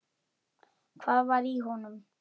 Hvað var í honum?